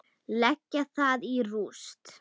Leggja það í rúst!